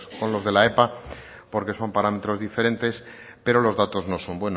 con los de la epa porque son parámetros diferentes pero los datos no son